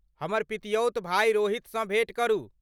हमर पितियौत भाय रोहितसँ भेँट करू।